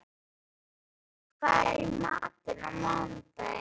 Auðný, hvað er í matinn á mánudaginn?